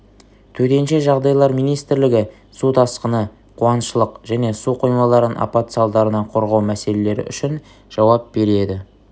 төтенше жағдайлар министрлігі су тасқыны қуаңшылық және су қоймаларын апат салдарынан қорғау мселелері үшін жауап береді